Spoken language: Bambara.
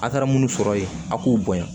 A' taara munnu sɔrɔ yen a k'u bonya